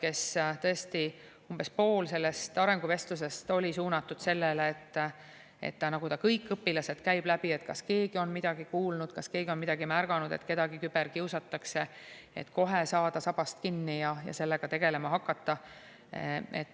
Ta tõesti umbes poole sellest arenguvestlusest suunas sellele, et ta käib läbi kõik õpilased, et kas keegi on midagi kuulnud, kas keegi on midagi märganud, et kedagi küberkiusatakse, et kohe saada sabast kinni ja sellega tegelema hakata.